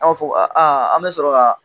An b'a fɔ an bɛ sɔrɔ k'a